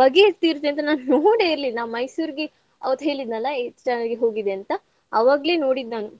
ಬಗೆ ಇರ್ತ್~ ಇರುತ್ತೆ ಅಂತ ನಾ ನೋಡೇ ಇರ್ಲಿಲ್ಲಾ. ಮೈಸೂರಿಗೆ ಅವತ್ತ್ ಹೇಳಿದ್ನಲ್ಲಾ eighth standard ಗೆ ಹೋಗಿದ್ದೆ ಅಂತ ಅವಾಗ್ಲೆ ನೋಡಿದ್ದ್ ನಾನು.